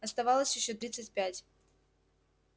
оставалось ещё тридцать пять